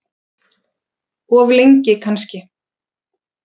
Of lengi kannski.